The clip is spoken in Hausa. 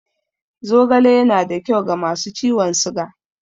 Zogale yana da kyau ga masu ciwon siga.